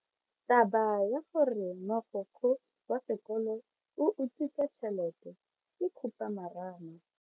Taba ya gore mogokgo wa sekolo o utswitse tšhelete ke khupamarama.